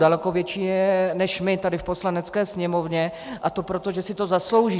Daleko větší než my tady v Poslanecké sněmovně, a to proto, že si to zaslouží.